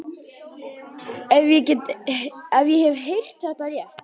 Ef ég hef heyrt það rétt.